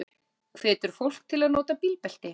Hvetur fólk til að nota bílbelti